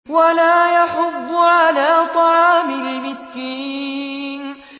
وَلَا يَحُضُّ عَلَىٰ طَعَامِ الْمِسْكِينِ